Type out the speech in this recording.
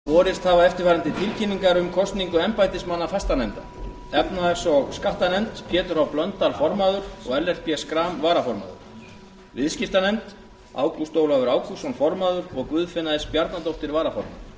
borist hafa eftirfarandi tilkynningar um kosningu embættismanna fastanefnda efnahags og skattanefnd pétur h blöndal formaður og ellert b schram varaformaður viðskiptanefnd ágúst ólafur ágústsson formaður og guðfinna s bjarnadóttir varaformaður